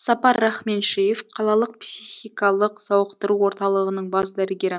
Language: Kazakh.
сапар рахменшеев қалалық психикалық сауықтыру орталығының бас дәрігері